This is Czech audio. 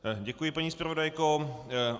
Děkuji, paní zpravodajko.